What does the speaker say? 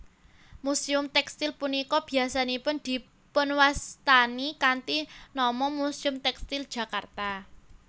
Muséum tèkstil punika biyasanipun dipunwastani kanthi nama Muséum Tèkstil Jakarta